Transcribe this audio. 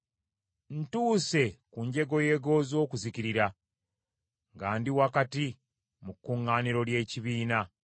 Ntuuse ku njegoyego z’okuzikirira nga ndi wakati mu kuŋŋaaniro ly’ekibiina.”